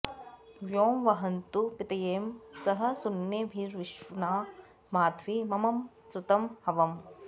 वयो॑ वहन्तु पी॒तये॑ स॒ह सु॒म्नेभि॑रश्विना॒ माध्वी॒ मम॑ श्रुतं॒ हव॑म्